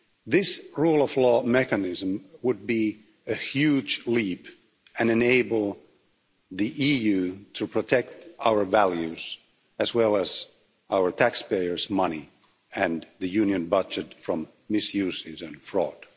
This rule of law mechanism would be a huge leap and enable the EU to protect our values, as well as our taxpayers' money and the Union budget, from misuse and fraud.